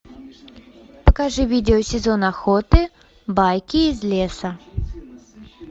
покажи видео сезон охоты байки из леса